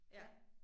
Ja